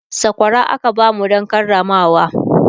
sakwara aka bamu Dan Karamawa